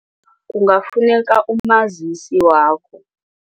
Kungafuneka umazisi wakho.